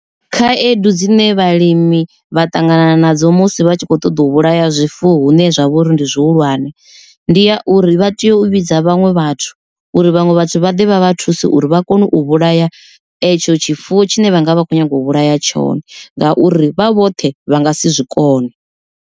Khaedu dzine vhalimi vha ṱangana nadzo musi vha tshi kho ṱoḓa u vhulaya zwifuwo hune zwa vha uri ndi zwihulwane. Ndi ya uri vha teyo u vhidza vhaṅwe vhathu uri vhaṅwe vhathu vha ḓe vha vha thuse uri vha kone u vhulaya etsho tshifuwo tshine vha nga vha vha khou nyanga u vhulaya tshone ngauri vha vhoṱhe vha nga si zwikone.